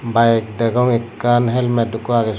bike degong ikkan helmat iiko agge sot.